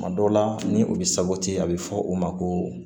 Kuma dɔ la ni o bɛ sabati a bɛ fɔ o ma ko